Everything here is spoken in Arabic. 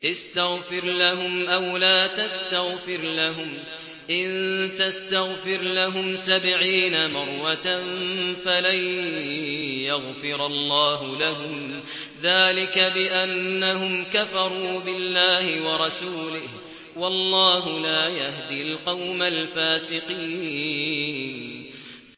اسْتَغْفِرْ لَهُمْ أَوْ لَا تَسْتَغْفِرْ لَهُمْ إِن تَسْتَغْفِرْ لَهُمْ سَبْعِينَ مَرَّةً فَلَن يَغْفِرَ اللَّهُ لَهُمْ ۚ ذَٰلِكَ بِأَنَّهُمْ كَفَرُوا بِاللَّهِ وَرَسُولِهِ ۗ وَاللَّهُ لَا يَهْدِي الْقَوْمَ الْفَاسِقِينَ